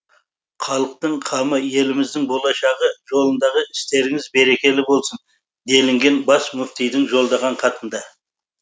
халықтың қамы еліміздің болашағы жолындағы істеріңіз берекелі болсын делінген бас мүфтидің жолдаған хатында